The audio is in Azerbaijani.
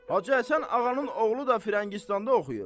Hacı Həsən Ağanın oğlu da Firəngistanda oxuyub.